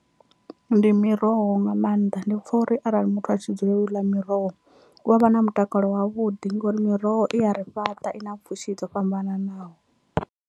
Ndi miroho nga maanḓa ndi pfha uri arali muthu a tshi dzulela u ḽa miroho u avha na mutakalo wavhuḓi ngori miroho i ya ri fhaṱa i na pfhushi dzo fhambananaho.